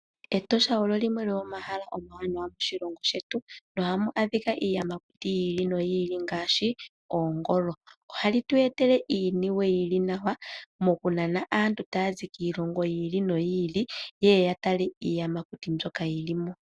Etosha olo limwe lyo momahala omawanawa moshilongo shetu, nohamu adhika iiyamakuti yi ili noyi ili ngaashi: oongolo. Ohali tu etele iiniwe ili nawa mokunana aantu taya zi kiilongo yi ili noyi ili, yeye ya tale iiyamakuti mbyoka yili mo.